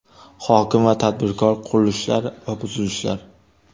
Hokim va tadbirkor : qurilishlar va buzilishlar.